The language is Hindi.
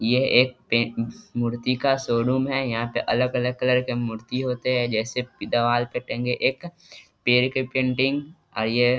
यह एक पे मूर्ति का शोरूम है यहाँ पर अलग-अलग कलर की मूर्ति होता है जैसे देवाल पे टंगे एक पेड़ की पेंटिंग और ये --